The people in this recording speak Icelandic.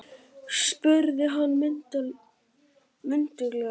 spurði hann mynduglega.